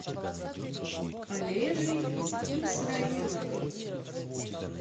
олежей исраиловым